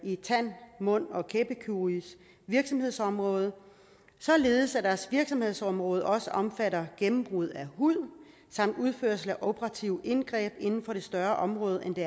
tand mund og kæbekirurgisk virksomhedsområde således at deres virksomhedsområde også omfatter gennembrud af hud samt udførelse af operative indgreb inden for et større område end det